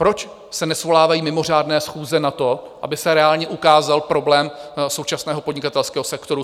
Proč se nesvolávají mimořádné schůze na to, aby se reálně ukázal problém současného podnikatelského sektoru?